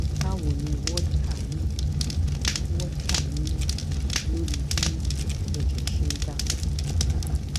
ipa wo ni wódká ní wódká ní lórí bí èjè ṣe ń dà pò